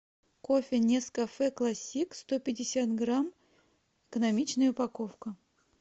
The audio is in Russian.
кофе нескафе классик сто пятьдесят грамм экономичная упаковка